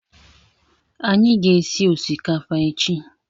Anyị ga- esị osikapa echi